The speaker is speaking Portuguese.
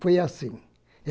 Foi assim.